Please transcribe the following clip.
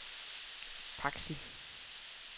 Paxi